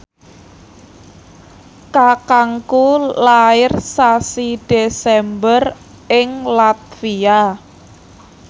kakangku lair sasi Desember ing latvia